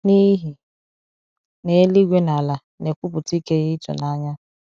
n’ihi na eluigwe na ala na-ekwupụta ike ya ịtụnanya